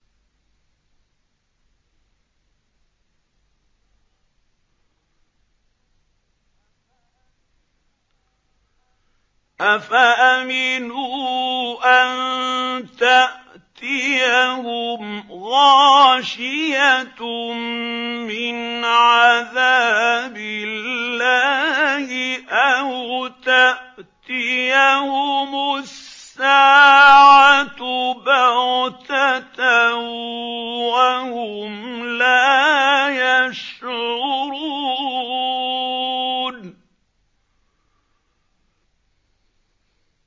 أَفَأَمِنُوا أَن تَأْتِيَهُمْ غَاشِيَةٌ مِّنْ عَذَابِ اللَّهِ أَوْ تَأْتِيَهُمُ السَّاعَةُ بَغْتَةً وَهُمْ لَا يَشْعُرُونَ